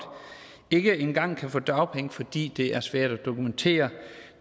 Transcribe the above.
ikke engang kan få dagpenge fordi det er svært at dokumentere